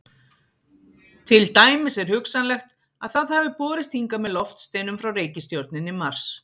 Til dæmis er hugsanlegt að það hafi borist hingað með loftsteinum frá reikistjörnunni Mars.